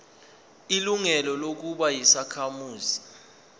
ilungelo lokuba yisakhamuzi